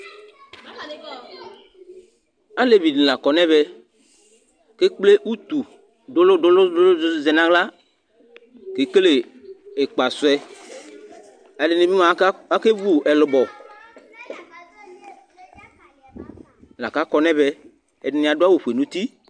aleʋɩɗɩnɩla aƙɔ nɩ ɛmɛ atanɩe ƙple ʊtʊ ɗʊlʊnɩ ɗʊnʊ ahla aƙeƙele ɩƙpasɛ ɛɗɩnɩɓɩ eƙeʋʊ ɛlʊɓɔ mɛ atanɩ aƙɔ nʊ ɛmɛ ɛɗɩnɩ aɗʊ awʊ ofʊe nʊ ʊtɩ